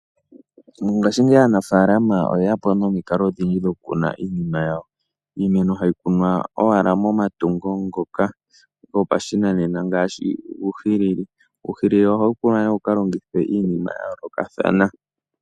Mongaashingeyi aanafaalama oye ya po nomikalo odhindji dho kukuna iinima yawo. Iimeno hayi kunwa owala momatungu ngoka gopashinanena ngaashi uuhilili. Uuhilili ohawu kunwa nee wu ka longithwa iinima ya yoolokathana.